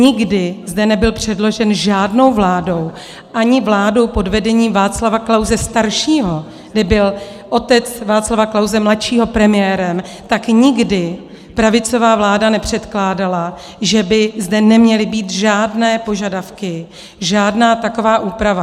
Nikdy zde nebyl předložen žádnou vládou, ani vládou pod vedením Václava Klause staršího, kde byl otec Václava Klause mladšího premiérem, tak nikdy pravicová vláda nepředkládala, že by zde neměly být žádné požadavky, žádná taková úprava.